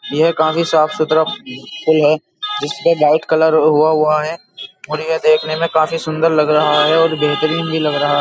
यह काफी साफ सुतरा पूल है जिसपे व्हाइट करल हुआ हुआ है और ये देखने में काफी सुंदर लग रहा है और बेहतरीन भी लग रहा है।